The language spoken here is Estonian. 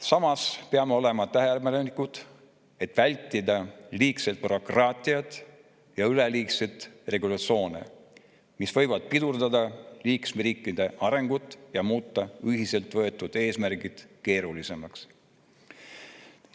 Samas peame olema tähelepanelikud, et vältida liigset bürokraatiat ja üleliigseid regulatsioone, mis võivad pidurdada liikmesriikide arengut ja muuta ühiselt võetud eesmärkide keerulisemaks.